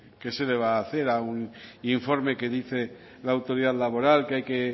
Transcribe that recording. qué se le va a hacer a un informe que dice la autoridad laboral que hay que